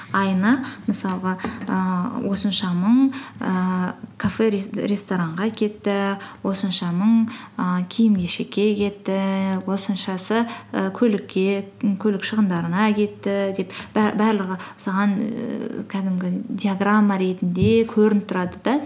айына мысалға ііі осынша мың ііі кафе ресторанға кетті осынша мың ііі киім кешекке кетті осыншасы і көлікке көлік шығындарына кетті деп барлығы саған ііі кәдімгі диаграмма ретінде көрініп тұрады да